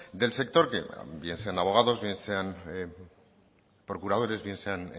del sector que bien sean abogados bien sean procuradores bien sean